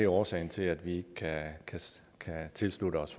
årsagen til at vi ikke kan tilslutte os